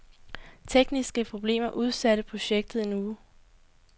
Tekniske problemer udsatte projektet en uge.